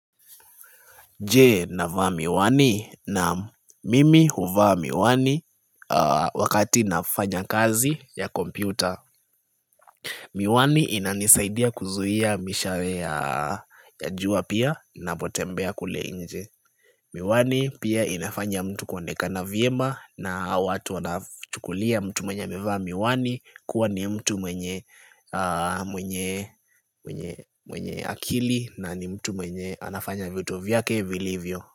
Je navaa miwani? Naam. Mimi huvaa miwani wakati nafanya kazi ya kompyuta Miwani inanisaidia kuzuia mishale ya jua pia ninapotembea kule nje. Miwani pia inafanya mtu kuonekana vyema na watu wanachukulia mtu mwenye amevaa miwani kuwa ni mtu mwenye mwenye akili na ni mtu mwenye anafanya vitu vyake vilivyo.